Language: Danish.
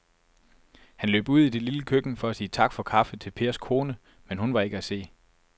Han løb ud i det lille køkken for at sige tak for kaffe til Pers kone, men hun var ikke til at se.